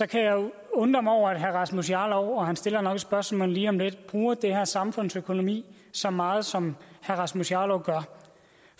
kan jeg jo undre mig over at herre rasmus jarlov han stiller nok et spørgsmål lige om lidt bruger den her samfundsøkonomi så meget som herre rasmus jarlov gør